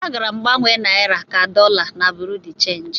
Agara m gbanwe naira ka dollar na bureau de change.